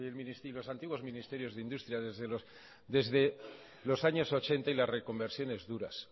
mil novecientos ochenta y las reconversiones duras sí con mucho dinero desde la reconversión de los antiguos ministerios de industria desde los años ochenta y las reconversiones duras